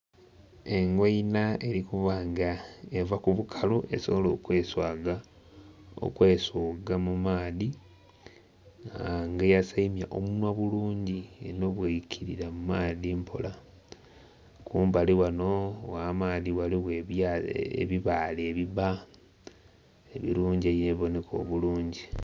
Engoina eri kuba nga eva ku bukalu esobole okwesoiga mu maadhi nga eyasaimya omunhwa bulungi eno bweikirira mu maadhi mpola. Kumbali ghano gh'amaadhi ghaligho ebibaale ebibba ebirungi ebiboneka obulungi.